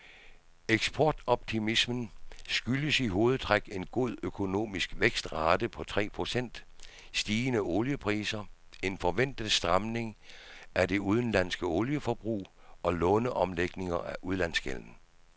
Eksportoptimismen skyldes i hovedtræk en god økonomisk vækstrate på tre procent, stigende oliepriser, en forventet stramning af det indenlandske olieforbrug og låneomlægninger af udlandsgælden.